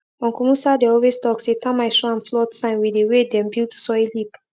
uncle musa dey always talk say termite show am flood sign with the way dem build soil heap